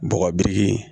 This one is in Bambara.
Bɔgɔ biriki